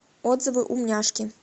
отзывы умняшки